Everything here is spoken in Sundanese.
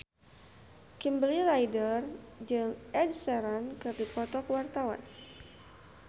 Kimberly Ryder jeung Ed Sheeran keur dipoto ku wartawan